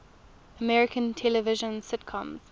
american television sitcoms